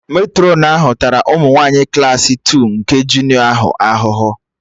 Matrọn ahụ tara ụmụ nwanyị Klassị Two nke junịọ ahụhụ ụnyaahụ